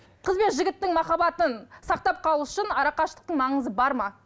қыз бен жігіттің махаббатын сақтап қалу үшін арақашықтықтың маңызы бар ма